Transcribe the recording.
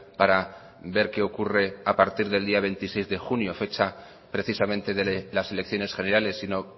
para ver qué ocurre a partir del día veintiséis de junio fecha precisamente de las elecciones generales sino